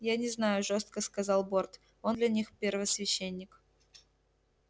я не знаю жёстко сказал борт он для них первосвященник